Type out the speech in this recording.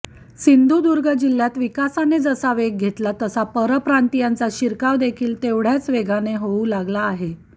सिंधुदुर्ग जिह्यात विकासाने जसा वेग घेतला तसा परप्रांतीयांचा शिरकावदेखील तेवढय़ाच वेगाने होऊ लागला आहे